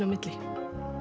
á milli